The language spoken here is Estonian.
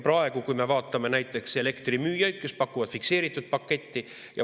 Praegu vaatame näiteks elektrimüüjaid, kes pakuvad fikseeritud paketti.